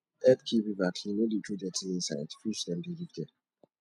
help keep river clean no throw dirty inside fish dem dey live there